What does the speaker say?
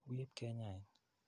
Wi ip kenyain.